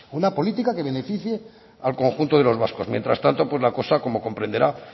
una política que beneficie al conjunto de los vascos mientras tanto pues la cosa como comprenderá